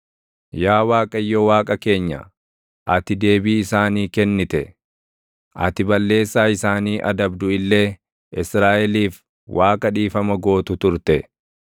Yaa Waaqayyo Waaqa keenya, ati deebii isaanii kennite; ati balleessaa isaanii adabdu illee, Israaʼeliif Waaqa dhiifama gootu turte.